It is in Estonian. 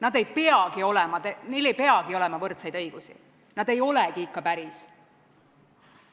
Neil ei peagi olema võrdseid õigusi, nad ei olegi ikka päris.